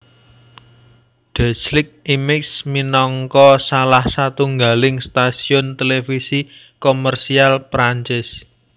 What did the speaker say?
Déclic Images minangka salah satunggaling stasiun televisi komersial Perancis